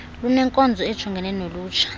lunenkonzo ejongene nolutsha